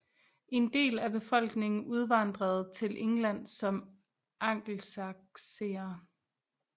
En del af befolkningen udvandrede til England som angelsaksere